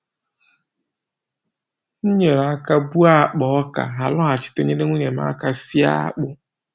M nyere aka buo akpa ọka, ha lọghachita inyere nwunye m aka sie akpụ